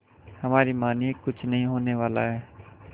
हमारी मानिए कुछ नहीं होने वाला है